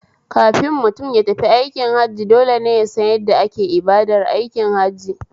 Kafin mutum yatafi aikin Hajji dole ne yasan yadda ake ibadar aikin hajjin